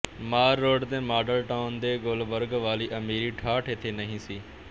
ਮਾਲ Road ਤੇ Model Town ਤੇ ਗੁਲਬਰਗ ਵਾਲੀ ਅਮੀਰੀ ਠਾਠ ਇਥੇ ਨਹੀਂ ਸੀ